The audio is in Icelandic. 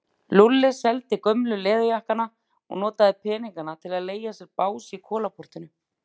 Lúlli seldi gömlu leður- jakkana og notaði peningana til að leigja sér bás í Kolaportinu.